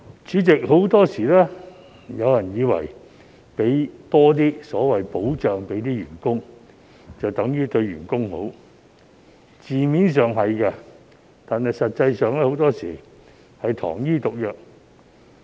主席，很多時候，有些人以為多為員工提供所謂"保障"，就等於對員工好，字面上是的，但實際上，很多時是糖衣毒藥。